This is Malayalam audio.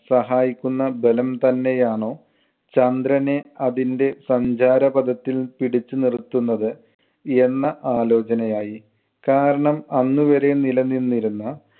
സഹായിക്കുന്ന ബലം തന്നെയാണോ ചന്ദ്രനെ അതിന്‍റെ സഞ്ചാരപഥത്തിൽ പിടിച്ചുനിർത്തുന്നത് എന്ന ആലോചനയായി. കാരണം അന്നുവരെ നിലനിന്നിരുന്ന